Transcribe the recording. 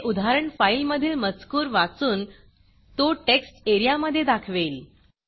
हे उदाहरण फाईल मधील मजकूर वाचून तो टेक्स्ट एरियामधे दाखवेल